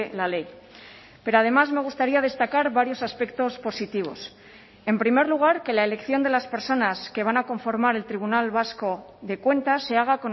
la ley pero además me gustaría destacar varios aspectos positivos en primer lugar que la elección de las personas que van a conformar el tribunal vasco de cuentas se haga